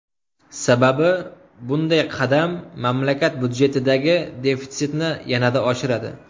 Sababi, bunday qadam mamlakat budjetidagi defitsitni yanada oshiradi.